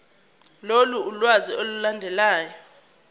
lolu lwazi olulandelayo